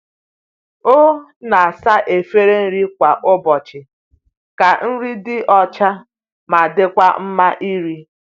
O na-asa efere nri kwa ụbọchị ka nri dị ọcha ma dịkwa mma iri.